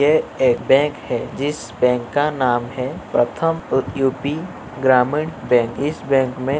यह एक बैंक है जिस बैंक का नाम है प्रथम यू.पी. ग्रामीण बैंक । इस बैंक में --